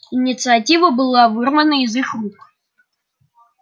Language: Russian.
инициатива была вырвана из их рук